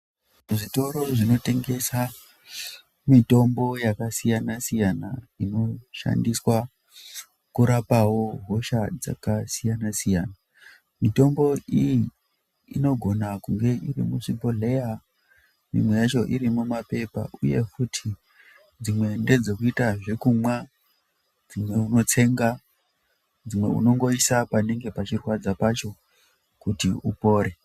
Zvitoro zvinotengesa mitombo yakasiyana siyana, inoshandiswa kurapawo hosha dzakasiyana siyana. Mitombo iyi inogona kunge iri muchibhodhleya ,imwe yacho iri muma pepa uye futi dzimwe ndedzekuita zvekumwa ,dzimwe unotsenga, dzimwe unongoisa panenge pachirwadza pacho kuti upore.